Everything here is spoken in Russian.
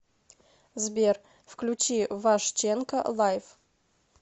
сбер включи вашченко лайф